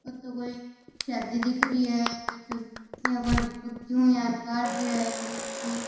ओ तो कोई शादी दिख री है जटे इया कोई क्यों यान काढ़ रिया है बन्दोली।